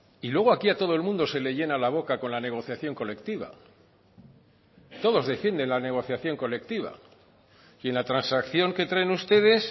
y luego aquí a todo el mundo se le llena la boca con la negociación colectiva todos defienden la negociación colectiva y en la transacción que traen ustedes